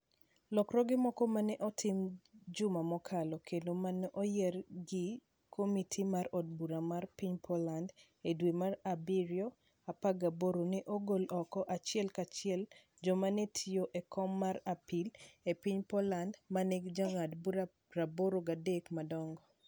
Lokruoge moko ma ne otim juma mokalo kendo ma ne oyier gi komiti mar od bura mar piny Poland e dwe mar abirio 18, ne ogolo oko achiel kachiel joma ne tiyo e kom mar apil e piny Poland, ma nigi jong'ad bura 83 madongo.